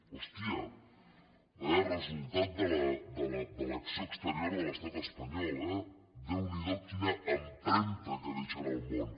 hòstia quin resultat de l’acció exterior de l’estat espanyol eh déu n’hi do quina empremta que deixen al món